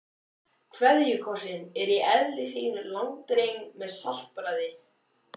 KVEÐJUKOSSINN er í eðli sínu langdreginn með saltbragði.